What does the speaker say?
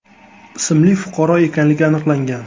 ismli fuqaro ekanligi aniqlangan.